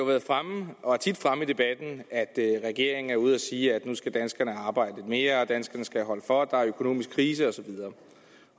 været fremme i debatten at regeringen er ude at sige at nu skal danskerne arbejde mere og at danskerne skal holde for for der er økonomisk krise og så videre